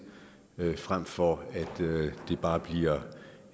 fremfor at det bare bliver